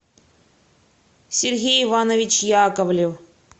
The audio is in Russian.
сергей иванович яковлев